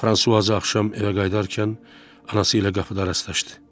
Fransuaza axşam evə qayıdarkən anası ilə qapıda rastlaşdı.